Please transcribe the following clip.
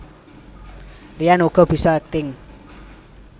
Ryan uga bisa akting